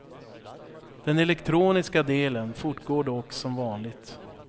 Den elektroniska delen fortgår dock som vanligt.